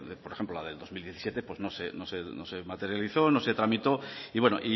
por ejemplo la del dos mil diecisiete pues no se materializó no se tramitó y bueno